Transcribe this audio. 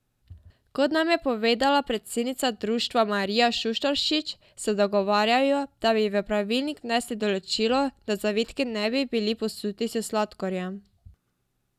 Kot nam je povedala predsednica društva Marija Šuštaršič, se dogovarjajo, da bi v pravilnik vnesli določilo, da zavitki ne bi bili posuti s sladkorjem.